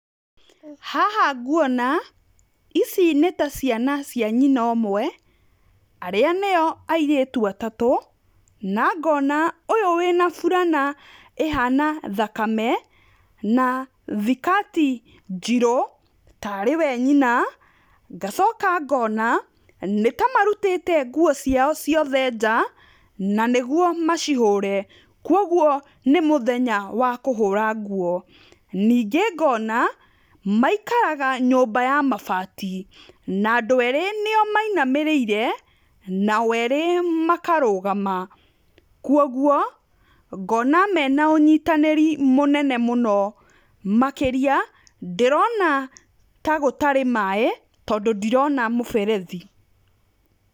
Haha nguona, ici nĩ ta ciana cia nyina ũmwe, arĩa nĩyo airĩtu atatũ, na ngona ũyũ wĩna burana ĩhana thakame, na thikati njirũ, tarĩ we nyina, ngacoka ngona nĩtamarutĩte guo ciao ciothe nja, na nĩguo macihũre, kwoguo nĩmũthenya wa kũhũra nguo, ningĩ ngona maikaraga nyũmba ya mabati, na andũ erĩ nĩyo mainamĩrĩre, nao erĩ makarũgama, kwoguo ngona mena ũnyitanĩri mũnene mũno, makĩria ndĩrona tagũtari maĩ tondũ ndirona mũberethi.